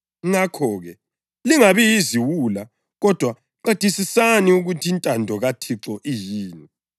Ngakho-ke, lingabi yiziwula kodwa qedisisani ukuthi intando kaThixo iyini.